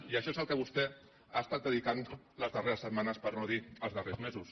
i a això és al que vostè ha estat dedicant les darreres setmanes per no dir els darrers mesos